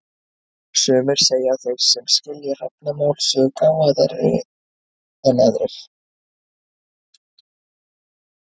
Sumir segja að þeir sem skilji hrafnamál séu gáfaðri en aðrir.